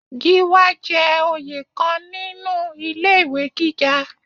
Gíwá jẹ́ oyè kan nínú ilé ìwé gíga.